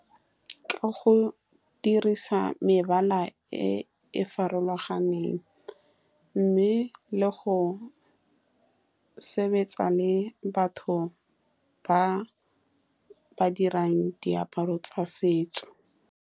Ee, ka go nne diphetogo tsa loago di na le influence mo go apareng ga basadi le go lebega, ka gonne basadi ba ntse ba apara go ya ka fashion-e e e tseneng.